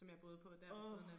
Som jeg boede på der ved siden af